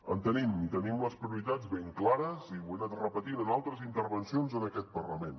en tenim i tenim les prioritats ben clares i ho he anat repetint en altres intervencions en aquest parlament